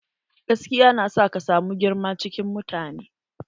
Gaskiya na sa ka samu girma cikin mutane.